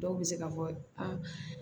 Dɔw bɛ se ka fɔ aa